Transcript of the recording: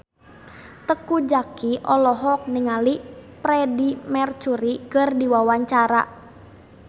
Teuku Zacky olohok ningali Freedie Mercury keur diwawancara